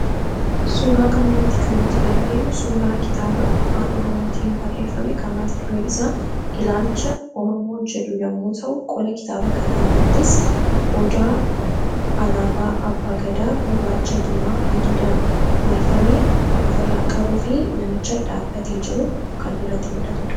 suuraa kana irratti kan nuti arginu suuraa kitaaba afaan oromootin barreeffame kan mata dureen isaa ilaalcha oromoo jedhu yommuu ta'u qola kitaaba kanaa irrattis odaa alaabaa abbaa gadaa gurraacha, diimaa adiidhaan marfamee kan ofirraa qabuu fi namichi dhaabate jiru kan irratti muldhatudha.